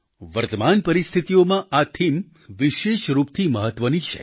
વર્તમાન પરિસ્થિતીઓમાં આ થીમ વિશેષરૂપથી મહત્વની છે